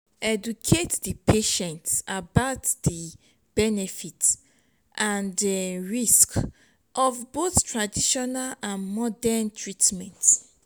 educate di patient about di benefit and risk of of both traditional and modern treatment